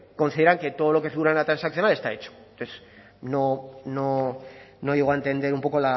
consideran que todo lo que figura en la transaccional está hecho entonces no llego a entender un poco